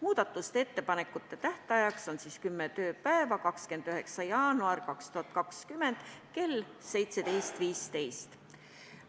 Muudatusettepanekute tegemiseks on aega kümme tööpäeva, tähtajaks on 29. jaanuar 2020 kell 17.15.